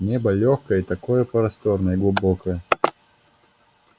небо лёгкое и такое просторное и глубокое